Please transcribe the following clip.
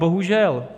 Bohužel.